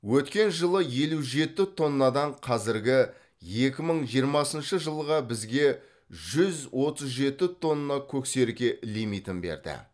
өткен жылы елу жеті тоннадан қазіргі екі мың жиырмасыншы жылға бізге жүз отыз жеті тонна көксерке лимитін берді